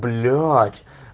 блять